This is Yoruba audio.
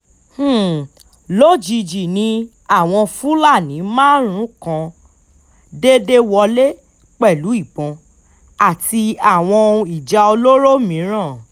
um lójijì ni àwọn fúlàní márú-ún kan um déédé wọlé pẹ̀lú ìbọn àti àwọn òun ìjà olóró mìíràn